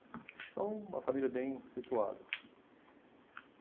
Então, uma família bem situada.